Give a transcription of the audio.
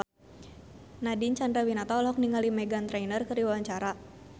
Nadine Chandrawinata olohok ningali Meghan Trainor keur diwawancara